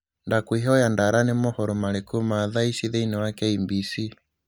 ndakwihoya ndara nīī mohoro marikū ma thaa ici thīini wa K.B.C.